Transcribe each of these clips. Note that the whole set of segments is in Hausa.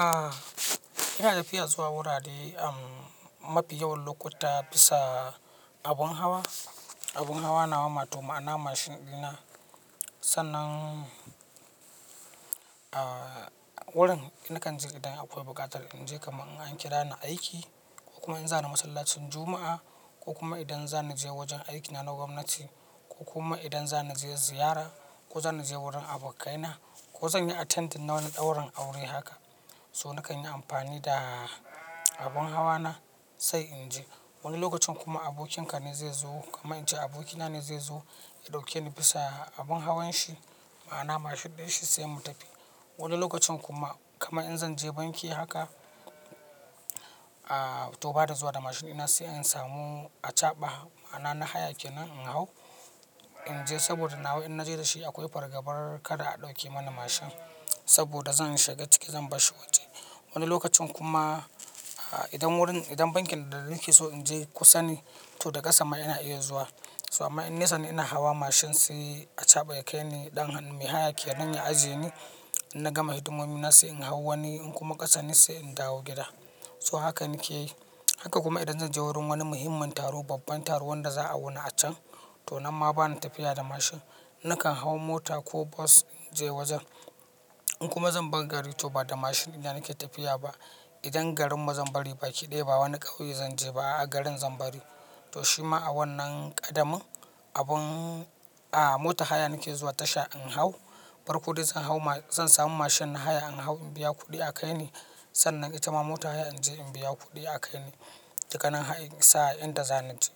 A ina tafiya zuwa wurare mafi yawan lokuta bisa abun hawa. Abun hawa nawa wato ma'ana mashin ɗina. Sannan a wurin na kan je idan akwai bukata inje kaman in an kirani aiki koh kuma in zani massalacin juma'a ko kuma idan za ni je wajen aikina na gwamnati ko kuma idan za ni je ziyara ko zani je wurin abokaina ko zan yi attending na wani ɗaurin aure haka. So nakan yi amfani da abun hawa na sai in je. Wani lokacin kuma abokinka ne zai zo kamar in ce abokina ne zai zo ya ɗauke ni bisa abun hawan shi ma'ana mashin ɗin shi sai mu tafi. Wani lokacin kuma kamar in zan je banki haka to ba ni zuwa da mashin ɗina sai in samu achaɓa ma'ana na haya kenan in hau in je saboda nawa in na je da shi akwai fargabar kada a ɗauke mana mashin saboda zan shiga ciki zan barshi waje. Wani lokacin kuma idan wurin idan bankin da nake so in je kusa ne to da ƙasa ma ina iya zuwa. So amma in nesa ne ina hawa mashin sai achaɓa ya kai ni ɗan hannu mai hayake nan ya ajiye ni. In na gama hidimomi na sai in hau wani in kuma ƙasa ne sai in dawo gida. So haka nake yi. Haka kuma idan zan je wurin wani muhimmin taro, babban taro wanda za a wuna a can to nan ma bana tafiya da mashin. Nakan hau mota ko bus in je wajen. In kuma zan bar gari to ba da mashin ɗina nake tafiya ba. Idan garin mu zan bari baki ɗaya ba wani ƙauye zan je ba a a garin zan bari. To shi ma a wannan ƙadamin abin a mota haya nake zuwa tasha in hau. Bar kudi zan hau zan samu mashin na haya in hau in biya kuɗi a kai ni. Sannan ita ma mota haya in je in biya kuɗi a kai ni. Dukkanan har in isa a inda zani je.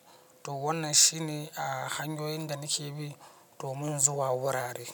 To wannan shine a hanyoyin da nake bi domin zuwa wurare.